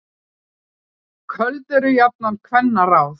Köld eru jafnan kvenna ráð.